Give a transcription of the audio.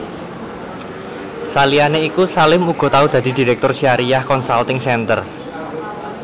Saliyané iku Salim uga tau dadi Direktur Syariah Consulting Center